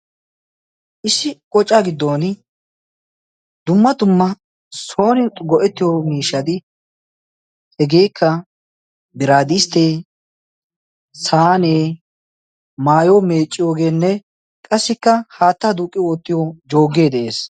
Issi qoca giddon dumma dumma soorin go'ettiyo miishati hegeekka biraadisttee saanee maayo meecciyoogeenne qassikka haattaa duuqi oottiyo jooggee de'ees.